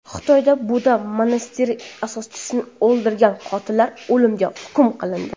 Xitoyda budda monastiri asoschisini o‘ldirgan qotillar o‘limga hukm qilindi.